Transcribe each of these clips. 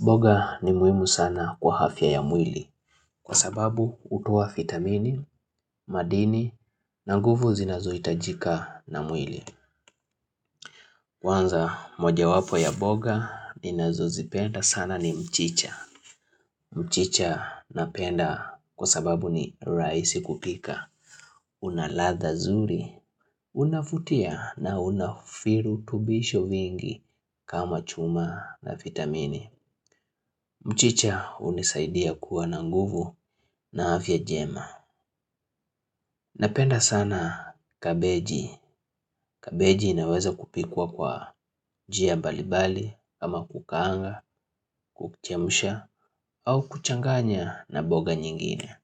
Mboga ni muhimu sana kwa afya ya mwili kwa sababu hutowa vitamini, madini na nguvu zinazo hitajika na mwili. Kwanza moja wapo ya mboga ninazo zipenda sana ni mchicha. Mchicha napenda kwa sababu ni rahisi kupika. Una ladha nzuri, unavutia na una virutubisho vingi kama chuma na vitamini. Mchicha hunisaidia kuwa na nguvu na afya njema. Napenda sana kabeji, kabeji inaweza kupikwa kwa njia mbalimbali kama kukaanga, kuchemsha au kuchanganya na mboga nyingine.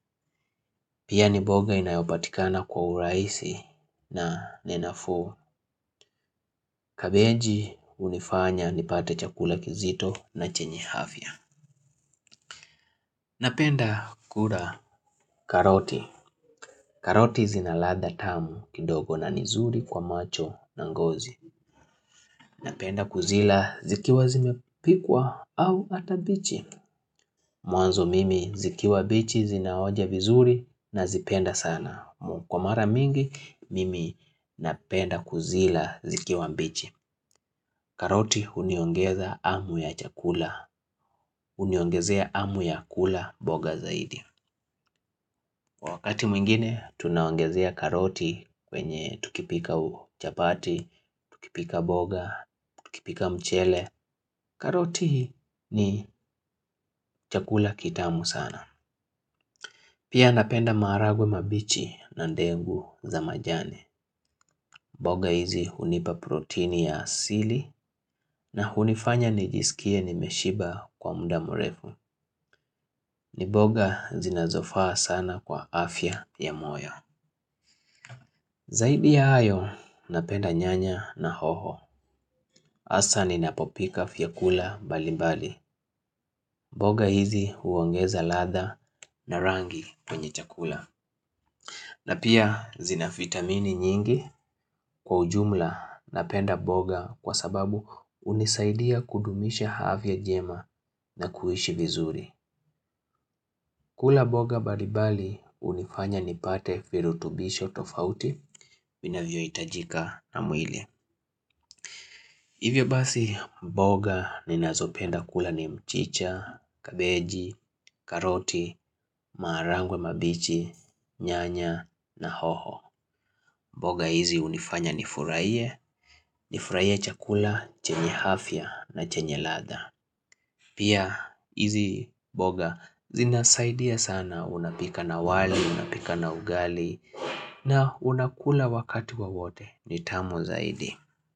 Pia ni mboga inayopatikana kwa urahisi na ni nafuu. Kabeji hunifanya nipate chakula kizito na chenye afya. Napenda kula karoti, karoti zina ladha tamu kidogo na ni nzuri kwa macho na ngozi. Napenda kuzila zikiwa zimepikwa au hata mbichi. Mwanzo mimi zikiwa mbichi zinaonja vizuri nazipenda sana. Kwa mara mingi mimi napenda kuzila zikiwa mbichi. Karoti uniongeza amu ya chakula huniongezea hamu ya kula mboga zaidi. Kwa wakati mwingine tunaongezea karoti kwenye tukipika chapati, tukipika mboga, tukipika mchele. Karoti ni chakula kitamu sana. Pia napenda maharagwe mabichi na ndengu za majani. Mboga hizi hunipa proteini ya asili na hunifanya nijisikie nimeshiba kwa muda mrefu. Ni mboga zinazofaa sana kwa afya ya moyo. Zaidi ya hayo, napenda nyanya na hoho. Hassa ninapopika vyakula mbalimbali. Mboga hizi huongeza ladha na rangi kwenye chakula. Na pia zina vitamini nyingi kwa ujumla napenda mboga kwa sababu hunisaidia kudumisha afya njema na kuishi vizuri. Kula mboga mbalimbali hunifanya nipate virutubisho tofauti vinavyo hitajika na mwili. Hivyo basi mboga ninazopenda kula ni mchicha, kabeji, karoti, maharagwe mabichi, nyanya na hoho. Mboga hizi hunifanya nifurahie, nifurahie chakula, chenye afya na chenye ladha. Pia hizi mboga zinasaidia sana unapika na wali, unapika na ugali na unakula wakati wowote ni tamu zaidi.